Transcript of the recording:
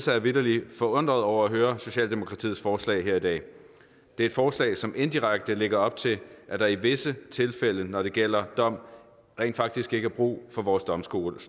jeg vitterlig forundret over at høre socialdemokratiets forslag her i dag det er et forslag som indirekte lægger op til at der i visse tilfælde når det gælder dom rent faktisk ikke er brug for vores domstole